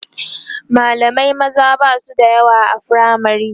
mallamai maza Basu da yawa a firamare